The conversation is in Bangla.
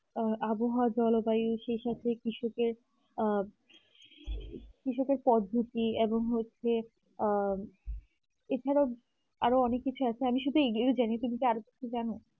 আহ আবহাওয়া জনতা এই সেই সব থেকে কৃষকের আহ কৃষকের পদ্ধতি এবং হচ্ছে আহ এছাড়াও আরো অনেক কিছু আছে আমি শুধু এগুলোই কিন্তু আরও কিছু জানো